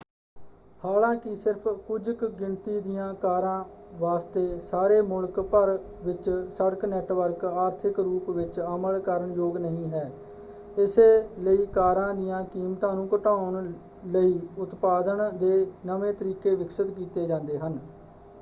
ਹਾਲਾਂਕਿ ਸਿਰਫ਼ ਕੁਝ ਕੁ ਗਿਣਤੀ ਦੀਆਂ ਕਾਰਾਂ ਵਾਸਤੇ ਸਾਰੇ ਮੁਲਕ ਭਰ ਵਿੱਚ ਸੜਕ ਨੈੱਟਵਰਕ ਆਰਥਿਕ ਰੂਪ ਵਿੱਚ ਅਮਲ ਕਰਨ ਯੋਗ ਨਹੀਂ ਹੈ ਇਸੇ ਲਈ ਕਾਰਾਂ ਦੀਆਂ ਕੀਮਤਾਂ ਨੂੰ ਘਟਾਉਣ ਲਈ ਉਤਪਾਦਨ ਦੇ ਨਵੇਂ ਤਰੀਕੇ ਵਿਕਸਤ ਕੀਤੇ ਜਾਂਦੇ ਹਨ।